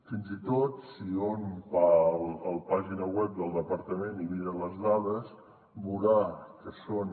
fins i tot si hom va la pàgina web del departament i mira les dades veurà que són